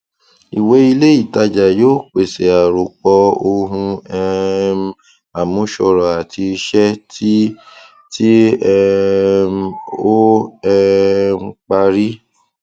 ìwé ilé ìtajà yóò pèsè àròpọ ohun um àmúṣọrọ àti iṣẹ tí tí um ó um parí